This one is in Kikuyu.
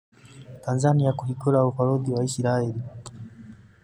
Tanzania kũhingura ũbaruthi wao Isiraĩri